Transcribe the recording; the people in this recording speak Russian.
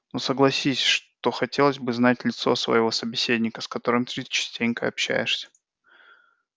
но согласись что хотелось бы знать в лицо своего собеседника с которым ты частенько общаешься